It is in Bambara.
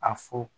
A fɔ